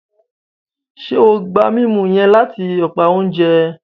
Ṣe o gba mímú yẹn lati apá oúnjẹ?